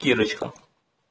кирочка